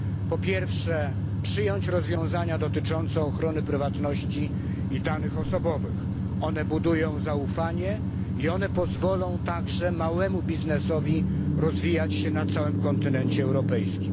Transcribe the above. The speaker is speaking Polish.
Po pierwsze, przyjąć rozwiązania dotyczące ochrony prywatności i danych osobowych. One budują zaufanie i one pozwolą także małemu biznesowi rozwijać się na całym kontynencie europejskim.